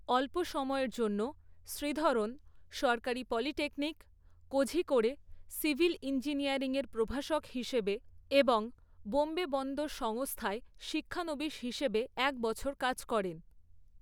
অল্প সময়ের জন্য, শ্রীধরন সরকারি পলিটেকনিক, কোঝিকোড়ে সিভিল ইঞ্জিনিয়ারিংয়ের প্রভাষক হিসেবে এবং বোম্বে বন্দর সংস্থায় শিক্ষানবিশ হিসেবে এক বছর কাজ করেন।